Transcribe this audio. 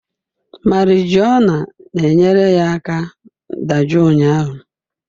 Marijuana na-enyere ya aka dajụọ ụnyahụ